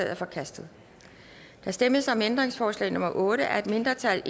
er forkastet der stemmes om ændringsforslag nummer otte af et mindretal